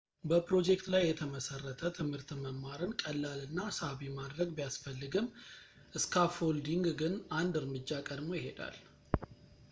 በፕሮጀክት ላይ የተመሠረተ ትምህርት መማርን ቀላል እና ሳቢ ማድረግ ቢያስፈልግም ፣ ስካፎልዲንግ ግን አንድ እርምጃ ቀድሞ ይሄዳል